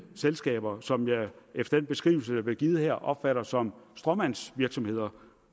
selskaber som jeg efter den beskrivelse der blev givet her opfatter som stråmandsvirksomheder